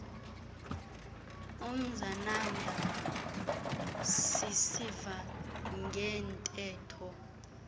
umzananda sisiva ngeentetho